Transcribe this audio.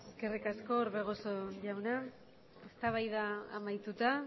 eskerrik asko orbegozo jauna eztabaida amaituta